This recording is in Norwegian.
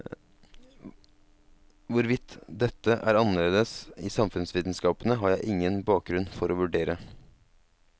Hvorvidt dette er annerledes i samfunnsvitenskapene, har jeg ingen bakgrunn for å vurdere.